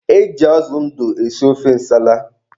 E ji azụ ndụ esi ofe nsala.